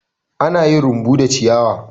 Ana yin rumbu da ciyawa.